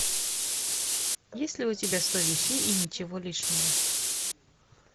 есть ли у тебя сто вещей и ничего лишнего